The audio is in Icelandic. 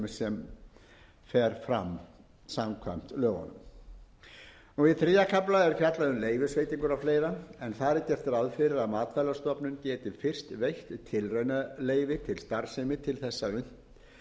sem fer fram samkvæmt lögunum í þriðja kafla er fjallað um leyfisveitingar og fleiri en þar er gert ráð fyrir að matvælastofnun geti fyrst veitt tilraunaleyfi til starfsemi til þess að unnt